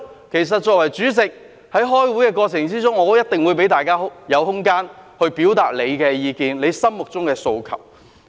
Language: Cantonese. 其實，作為主席，在開會的過程中，我一定會給大家空間，表達意見及心中的訴求。